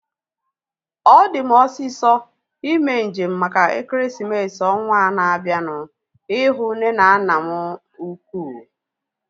Ọ di m osisọ ime njem maka ekeresimesi ọnwaa na-abianu ihu nne na nna m ukwuu